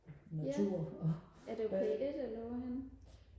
natur og